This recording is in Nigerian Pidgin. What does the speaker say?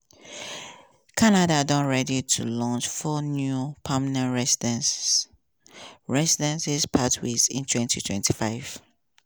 canada dey ready to launch four new permanent recidency (pr) recidency (pr) pathways in 2025.